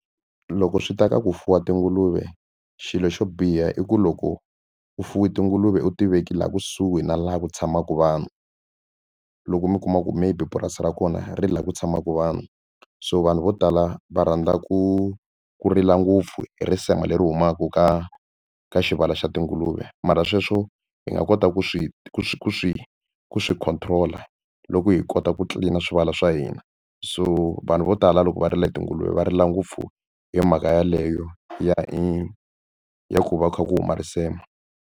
Loko swi ta ka ku fuwa tinguluve xilo xo biha i ku loko ku fuwa tinguluve u tiveki laha kusuhi na laha ku tshamaka vanhu loko mi kuma ku maybe purasi ra kona ri laha ku tshamaka vanhu so vanhu vo tala va rhandza ku ku rila ngopfu hi risema leri humaka ka ka xivala xa tinguluve mara sweswo hi nga kota ku swi swi swi swi control-a loko hi kota ku tlilina swivala swa hina so vanhu vo tala loko va rila hi tinguluve va rila ngopfu hi mhaka yeleyo ya i ya ku va ku kha ku huma risema.